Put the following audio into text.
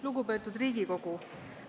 Lugupeetud Riigikogu!